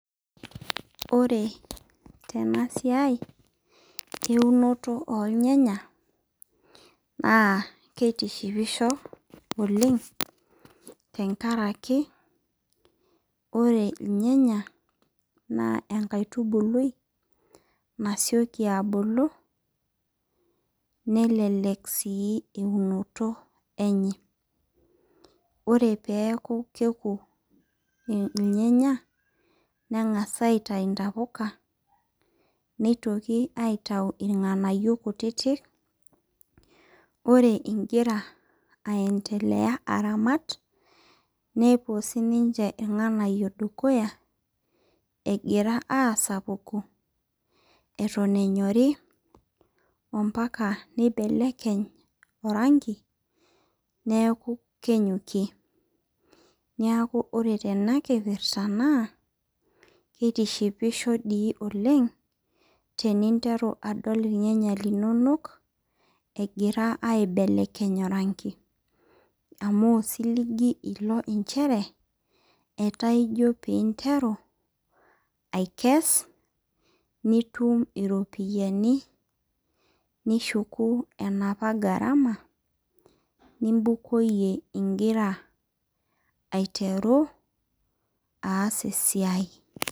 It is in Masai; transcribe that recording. Ore tena siai eunoto oo ilnyanya naa kitishipisho oleng tenkaraki ore irnyanya naa enkaitubului nasioki abulu nelelek sii eunoto enye. Oree peeku keku irnyanya neng'as aitayu intapuka nitoki aitayu irng'anayio kutitik. Ore igira ai endelea aramat neepuo sii ninche irng'anayio dukuya egira asapuku eton enyori oo mpaka nibelekeny oranki neeku kenyokie. Niaku ore tea kipirta naa kitishipisho doii oleng' teninteru adol irnyanya linonok egira aibelekeny oranki amu osiligi ilo inchere etaa ijoo pee interu aikes nitum iropiani nishuku enapa gharama nibukoyie igira aiteru aas esiai.